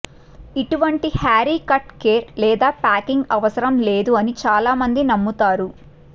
ఇటువంటి haircut care లేదా packing అవసరం లేదు అని చాలామంది నమ్ముతారు